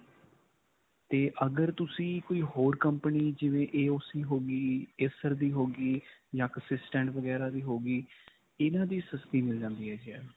ਤੇ ਅਗਰ ਤੁਸੀਂ ਕੋਈ ਹੋਰ company ਜਿਵੇਂ AOC ਹੋ ਗਈ, acer ਦੀ ਹੋ ਗਈ ਜਾਂ ਵਗੈਰਾ ਦੀ ਹੋ ਗਈ. ਇਨ੍ਹਾਂ ਦੀ ਸਸਤੀ ਮਿਲ ਜਾਂਦੀ ਹੈ.